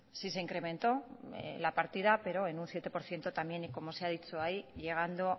sí se incrementó la partida pero en un siete por ciento también y como se ha dicho ahí llegando